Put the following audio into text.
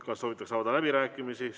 Kas soovitakse läbirääkimisi?